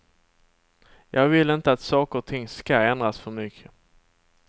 Jag vill inte att saker och ting ska ändras för mycket.